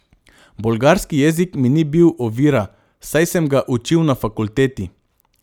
Bolgarski jezik mi ni bil ovira, saj sem ga učil na fakulteti.